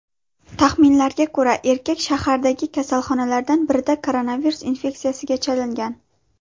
Taxminlarga ko‘ra, erkak shahardagi kasalxonalardan birida koronavirus infeksiyasiga chalingan.